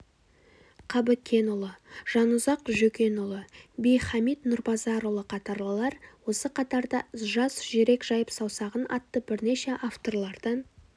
қабыкенұлы жанұзақ жөкенұлы би-хамит нұрбазарұлы қатарлылар осы қатарда жас жүрек жайып саусағын атты бірнеше авторлардан